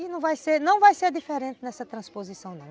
E não vai ser diferente nessa transposição, não